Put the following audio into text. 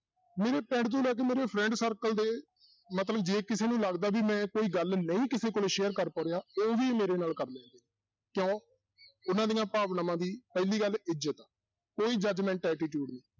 ਮੇਰੇ ਪਿੰਡ ਚੋਂ ਲੈ ਕੇ ਮੇਰੇ friend circle ਦੇ ਮਤਲਬ ਜੇ ਕਿਸੇ ਨੂੰ ਲੱਗਦਾ ਵੀ ਮੈਂ ਕੋਈ ਗੱਲ ਨਹੀਂ ਕਿਸੇ ਕੋਲ share ਕਰ ਪਾ ਰਿਹਾ, ਉਹ ਵੀ ਮੇਰੇ ਨਾਲ ਕਰ ਕਿਉਂ ਉਹਨਾਂ ਦੀਆਂ ਭਾਵਨਾਵਾਂ ਦੀ ਪਹਿਲੀ ਗੱਲ ਇੱਜਤ ਹੈ ਕੋਈ judgement attitude ਨੀ।